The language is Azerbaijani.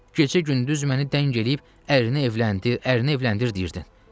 Gecə-gündüz məni dəng eləyib, ərinə evləndi, ərinə evləndi deyirdin.